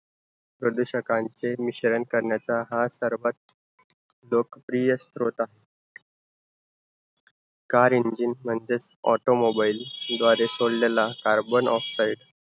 प्रदूषकांचे मिश्रण करण्याचा हा सर्वात लोकप्रिय स्रोत आहे. car इंजिने म्हणजेच automobile द्वारे सोडलेला carbon oxide